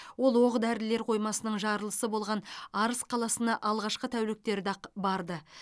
ол оқ дәрілер қоймасының жарылысы болған арыс қаласына алғашқы тәуліктерде ақ барды